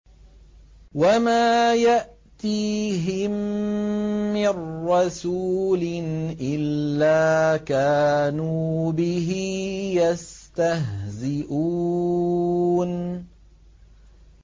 وَمَا يَأْتِيهِم مِّن رَّسُولٍ إِلَّا كَانُوا بِهِ يَسْتَهْزِئُونَ